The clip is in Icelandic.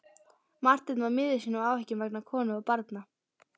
Marteinn var miður sín af áhyggjum vegna konu og barna.